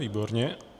Výborně.